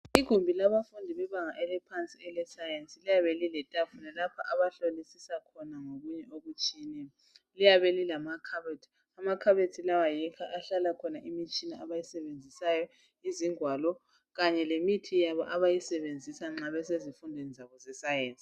Igumbi labafundi bebanga eliphansi elescience liyabe lile tafula lapho abahlolisisa khona okutshiyeneyo liyabe lilamakhabothi. Amakhabothi lawa yikho okuhlala khona imitshina abayisebenzisayo, izingwalo Kanye lemithi yabo abayisebenzisa nxa besezifundweni zabo ze science.